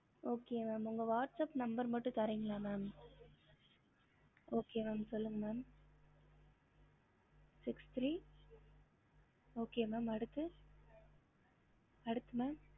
ஹம்